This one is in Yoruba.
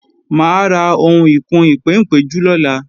Mà á ra ohun ìkùn-ìpéǹpéjú lọ́la